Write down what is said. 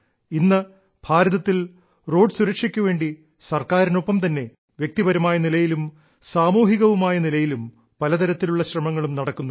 ഇന്ന് ഭാരതത്തിൽ റോഡ് സുരക്ഷയ്ക്കുവേണ്ടി സർക്കാരിനൊപ്പം തന്നെ വ്യക്തിപരമായ നിലയിലും സാമൂഹികവുമായ നിലയിലും പല തരത്തിലുള്ള ശ്രമങ്ങളും നടക്കുന്നുണ്ട്